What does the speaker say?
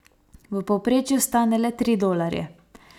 V povprečju stane le tri dolarje.